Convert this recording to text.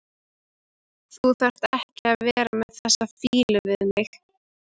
Þú þarft ekki að vera með þessa fýlu við mig.